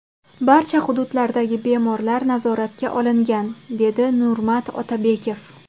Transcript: Barcha hududlardagi bemorlar nazoratga olingan”, dedi Nurmat Otabekov.